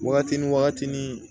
Wagati ni wagati ni